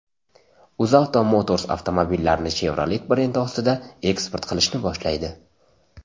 UzAuto Motors avtomobillarini Chevrolet brendi ostida eksport qilishni boshlaydi.